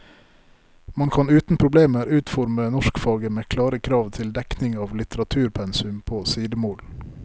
Man kan uten problemer utforme norskfaget med klare krav til dekning av litteraturpensum på sidemål.